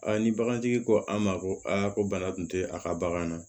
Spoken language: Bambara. ni bagantigi ko an ma ko aa ko bana tun tɛ a ka bagan na